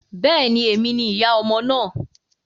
Bẹ́ẹ̀ ni, èmi ni ìyá ọmọ náà.